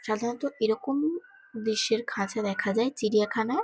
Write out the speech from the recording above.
সাধারণত এরকম দৃশ্যের খাঁচা দেখা যায় চিড়িয়াখানায় |